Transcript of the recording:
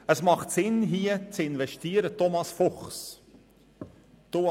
Es macht Sinn, in diesen Bereich zu investieren, Thomas Fuchs.